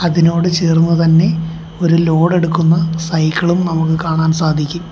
അതിനോട് ചേർന്ന് തന്നെ ഒരു ലോഡ് എടുക്കുന്ന സൈക്കിളും നമുക്ക് കാണാൻ സാധിക്കും.